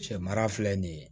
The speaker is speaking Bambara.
Cɛ mara filɛ nin ye